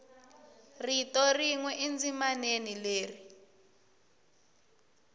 rito rin we endzimaneni leri